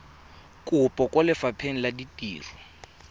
kopo kwa lefapheng la ditiro